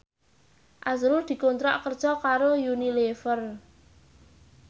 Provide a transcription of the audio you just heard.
azrul dikontrak kerja karo Unilever